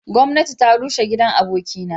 Gomnati ta rushe gidan aboki na.